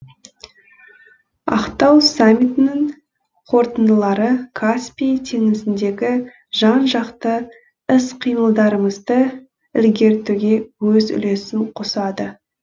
ақтау саммитінің қорытындылары каспий теңізіндегі жан жақты іс қимылдарымызды іргелтуге өз үлесін қосады